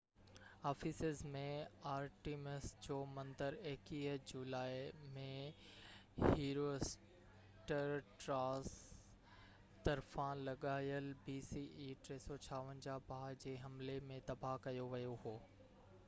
Ephesus ۾ Artemis جو مندر 21 جولائي 356 bce ۾ هيرواسٽراٽس طرفان لڳايل باه جي حملي ۾ تباه ڪيو ويو هو